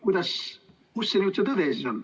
Kus see tõde nüüd on?